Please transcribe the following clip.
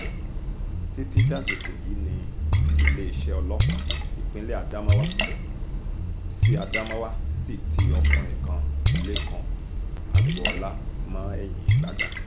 títí dàsìkò yìí wọn ò tí ì rí àwọn akẹ́kọ̀ọ́ náà gbà padà